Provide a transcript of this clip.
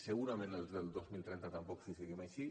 segurament els del dos mil trenta tampoc si seguim així